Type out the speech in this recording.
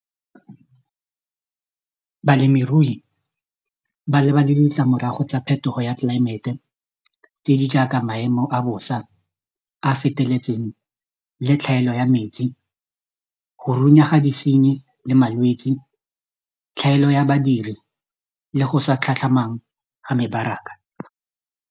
Balemirui ba lebane le ditlamorago tsa phetogo ya tlelaemete tse di jaaka maemo a bosa a feteletseng le tlhaelo ya metsi go runya ga disenyi le malwetsi tlhaelo ya badiri le go sa tlhatlhamang ga mebaraka.